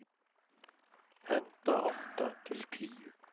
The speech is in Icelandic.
Handa átta til tíu